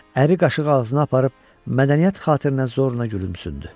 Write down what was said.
Əri qaşığı ağzına aparıb mədəniyyət xatirinə zorla gülümsündü.